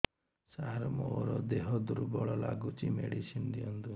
ସାର ମୋର ଦେହ ଦୁର୍ବଳ ଲାଗୁଚି ମେଡିସିନ ଦିଅନ୍ତୁ